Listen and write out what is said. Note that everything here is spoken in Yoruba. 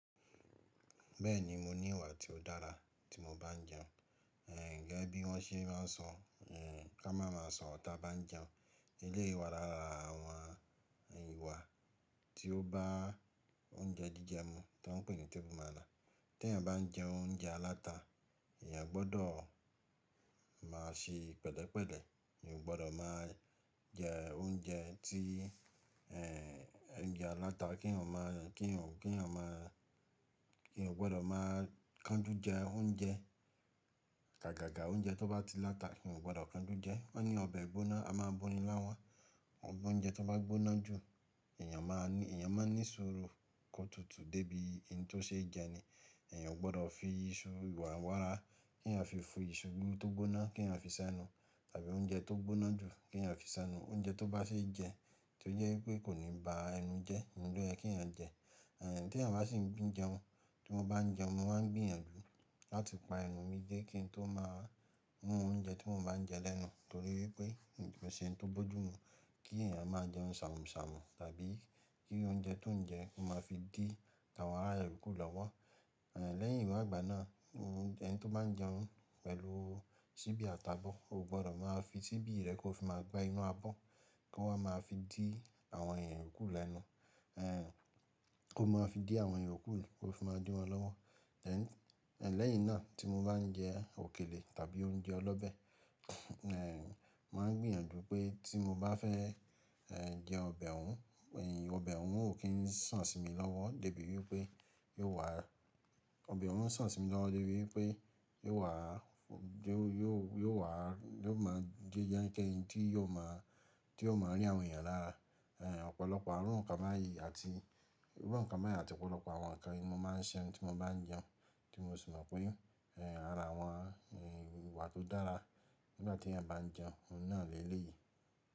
Bẹ́ẹ̀ni mo ní ìwà tí ó dára tí mo bá ń jẹun. Gẹ́gẹ́ bí wọ́n ṣe máa ń sọ, n ká máa ma sọrọ tá bá ń jẹun. Eléyìí ìwà lára àwọn ìwà tí ó bá oúnjẹ jíjẹ mu ti wón ń pè ní table manner. Tí èèyàn bá ń jẹ oúnjẹ aláta, èèyàn gbọdọ̀ máa ṣe pẹ̀lẹ́pẹ̀lẹ́. Èèyàn ò gbọdọ̀ má jẹ oúnjẹ tí, en oúnjẹ aláta kí èèyàn o má, kí eeyan o má, èèyàn o gbọdọ̀ má kanjú jẹ oúnjẹ. Àgàgà oúnjẹ tó bá ti láta eeyan o gbọdọ̀ kanjú jẹ. Wọ́n ní ọbẹ̀ gbóná, a máa boní láwọn ọ oúnjẹ tó bá gbóná jù, èèyàn máa ní, èèyàn máa n ní sùúrù kótutù débi n to ṣe jẹ ni. Èèyàn ò gbọdọ̀ fi iṣu wàrà n wàrà, kí eeyan o fi fi iṣu tó gbóná kí èèyàn o fi sẹ́nu tàbí oúnjẹ tó gbóná jù kí èèyàn o fi sẹ́nu. Oúnjẹ tó bá ṣe jẹ tí ó jẹ́ wípé kò ní ba ẹnu jẹ́, oun loyẹ kí ọ̀ jẹ. Tí èèyàn bá sì ń gbín jẹun, tí mo bá ń jẹun, mo máa ń gbìyànjú láti pa ẹnu mi dé kí n tó má rún oúnjẹ tí mo bá ń jẹ lẹ́nu. Nítorí wípé kò ki n se ohun tó bójú mú kí èèyàn máa jẹun ṣàmùṣàmù tàbí kí oúnjẹ tó ń jẹ máa fi dí àwọn ará rẹ̀ yokù lọ́wọ́. Lẹ́yìn wa ìgbà náà, ẹni tó bá ń jẹun pẹ̀lú síbí àti abọ̀, ò gbọdọ̀ máa fi síbí rẹ̀ kó fi máa gbá inú abọ́ kó wá máa fi dí àwọn èèyàn kù lẹ́nu. Kó máa fi dí àwọn èèyàn kù kó fi máa dín wọn lọ́wọ́. Lẹ́yìn náà tí mo bá ń jẹ òkèlè tàbí oúnjẹ ọlọ́bẹ̀, en mo màá ń gbìyànjú pé tí mo bá fẹ́ jẹ ọbẹ̀ òun, ọbẹ̀ òun ó kín sàn sí mi lọ́wọ́ dé bí wípé yóò wà, ọbẹ̀ òun o sàn sí mi lọ́wọ́ dé bí wípé yóò wà, yóò wà, yóò máa jẹ́ k'ẹnikẹni tí yóò máa, tí yóò máa rí àwọn èèyàn lára. Ọ̀pọ̀lọpọ̀ àwọn irú nǹkan báyìí àti, irú nǹkan báyìí àti ọ̀pọ̀lọpọ̀ àwọn ǹkan ni mo máa ń ṣe tí mo bá ń jẹun tí mo sì mọ̀ pé ara àwọn ìwà tó dára nígbà tí èèyàn bá ń jẹun, òun náà lè léyìí.